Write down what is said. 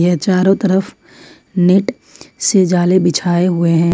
यह चारों तरफ नेट से जाली बिछाए हुए हैं।